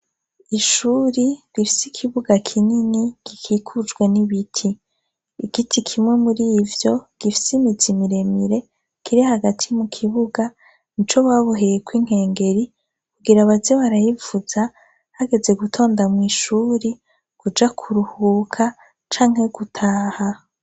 Ishure rifise ikibuga kinini gikikujwe nibiti. Igiti kimwe murivyo gifise imizi miremire kiri hagati mu kibuga nico baboheyeko inkengeri kugira baze barayivuza hageze gutonda mwishure kuja kuruhuka cank gutaha.